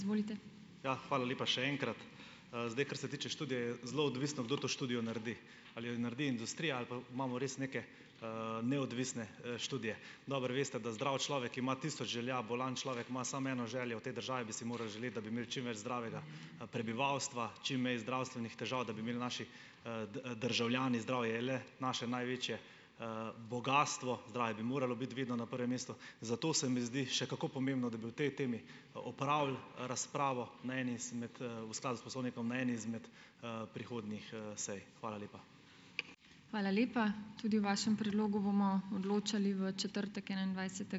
Ja, hvala lepa še enkrat. Zdaj, kar se tiče študije, je zelo odvisno, kdo to študijo naredi. Ali jo naredi industrija ali pa imamo res neke, neodvisne, študije. Dobro veste, da zdrav človek ima tisoč želja, bolan človek ima samo eno željo. V tej državi bi si morali želeti, da bi imeli čim več zdravega, prebivalstva, čim manj zdravstvenih težav, da bi imeli naši, državljani. Zdravje je le naše največje, bogastvo, zdravje bi moralo biti vedno na prvem mestu, zato se mi zdi še kako pomembno, da bi o tej temi, opravili razpravo na eni izmed, v skladu s poslovnikom na eni izmed, prihodnjih, sej. Hvala lepa.